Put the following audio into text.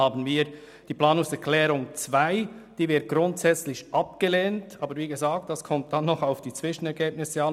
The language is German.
Zur Planungserklärung 2: Diese wird grundsätzlich abgelehnt, aber wie gesagt kommt es auch auf die Zwischenergebnisse an.